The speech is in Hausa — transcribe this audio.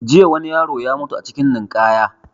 Jiya wani yaro ya mutu a cikin ninkaya